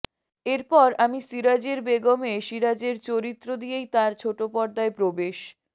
এরপর আমি সিরাজের বেগমে সিরাজের চরিত্র দিয়েই তাঁর ছোটপর্দায় প্রবেশ